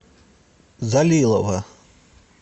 залилова